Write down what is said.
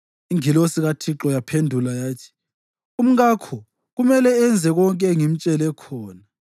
Ingilosi kaThixo yaphendula yathi, “Umkakho kumele enze konke engimtshele khona.